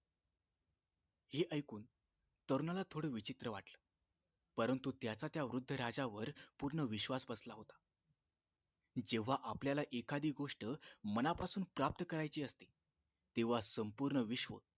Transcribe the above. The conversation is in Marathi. हे ऐकून तरुणाला थोडं विचित्र वाटलं परंतु त्याचा त्या वृद्ध राजावर पूर्ण विश्वास बसला होता जेव्हा आपल्याला एखादी गोष्ट मनापासून प्राप्त करायची असते तेव्हा संपूर्ण विश्व